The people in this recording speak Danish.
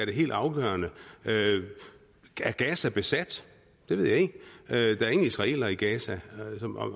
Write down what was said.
det helt afgørende er gaza besat det ved jeg ikke der er ingen israelere i gaza